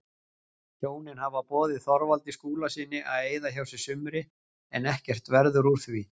Hjónin hafa boðið Þorvaldi Skúlasyni að eyða hjá sér sumri en ekkert verður úr því.